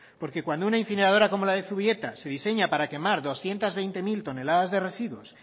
porque cuando una incineradora como la de zubieta se diseña para quemar doscientos veinte mil toneladas de residuos